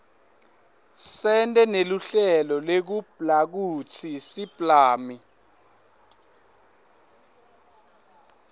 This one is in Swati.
sente neluhlelo lekublakutsi siblami